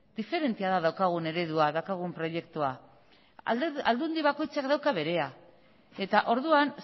diferentea da daukagun eredua daukagun proiektua aldundi bakoitzak dauka berea eta orduan